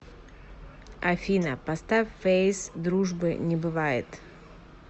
афина поставь фэйс дружбы не бывает